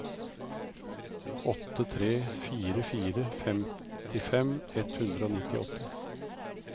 åtte tre fire fire femtifem ett hundre og nittiåtte